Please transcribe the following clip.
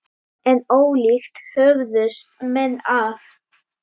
En ólíkt höfðust menn að.